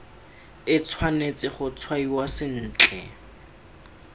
e tshwanetse go tshwaiwa sentle